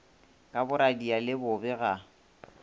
ka boradia le bobe ga